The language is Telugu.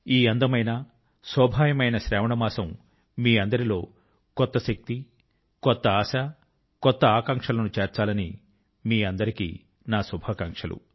ఈ అందమైన జీవంతమైన శ్రావణ మాసం మీ అందరిలో కొత్త శక్తి కొత్త ఆశ కొత్త ఆకాంక్షల ను చేర్చాలని మీ అందరికీ నా శుభాకాంక్షలు